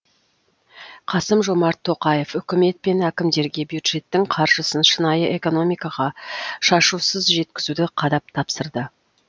қасым жомарт тоқаев үкімет пен әкімдерге бюджеттің қаржысын шынайы экономикаға шашусыз жеткізуді қадап тапсырды